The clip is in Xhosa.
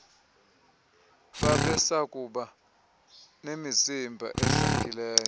babesakuba nemizimba edlamkileyo